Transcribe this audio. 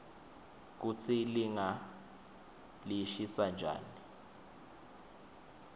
kutsi linga lishisa njani